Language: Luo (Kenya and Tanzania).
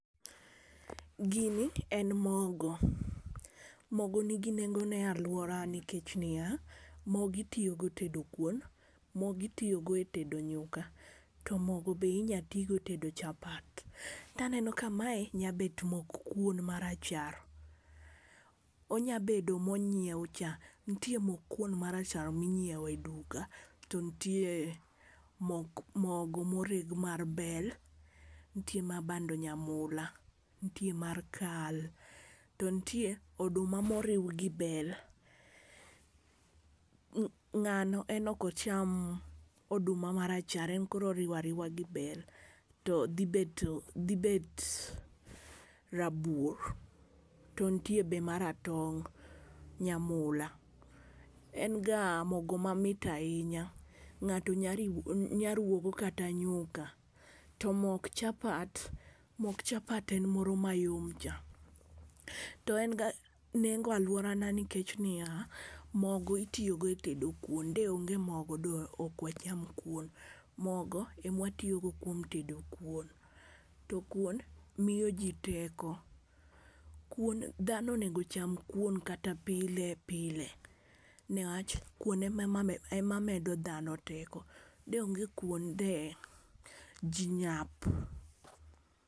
Gini en mogo, mogo nigi nengo ne aluora nikech niya: mogo itiyo go tedo kuon, mogo itiyo go tedo nyuka, to mogo be inyalo tigo tedo chapat. To aneno ka mae nya bet mok kuon marachar onya bedo monyiew cha. Ntie mok kuon marachar minyiewe duka to ntie mok mogo moreg mar bel ntie ma bando nyamula ntie mar kal to ntie oduma moriw gi bel . Ng'ano en ok ocham oduma marachar en koro oriwariwa gi bel, to dhi bedo dhi bet rabuor. To ntie be maratong' nyamula, en ga mogo mamit ahinya ng'ato nya riwo nya ruwo go kata nyuka to mok chapat mok chapat en moro mayom cha. To en ga nengo aluorana nikech niya, mogo itiyo go e tedo kuon, de onge mogo de ok wacham kuon, mogo emwatiyo go kuom tedo kuon to kuon miyo jiii teko. Kuon dhano onego cham kuon kata pile pile newach kuon ema medo dhano teko de onge kuon de jii nyap.